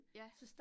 Ja